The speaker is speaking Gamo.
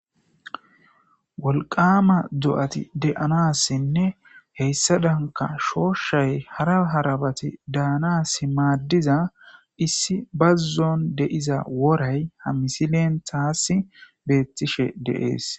wolqama do7ati de7anassinne heyssa danka shooshay hara harabati daanas maaddiza issi bazzon deiza woray hamisileen taasi beettishe deees